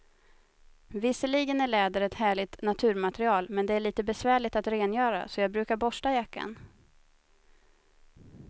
Visserligen är läder ett härligt naturmaterial, men det är lite besvärligt att rengöra, så jag brukar borsta jackan.